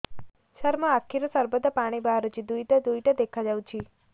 ସାର ମୋ ଆଖିରୁ ସର୍ବଦା ପାଣି ବାହାରୁଛି ଦୁଇଟା ଦୁଇଟା ଦେଖାଯାଉଛି